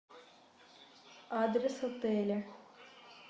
адрес отеля